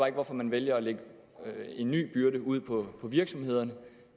ikke hvorfor man vælger at lægge en ny byrde ud på virksomhederne